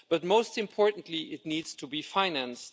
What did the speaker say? But, most importantly, it needs to be financed.